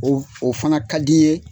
o fana ka di n ye.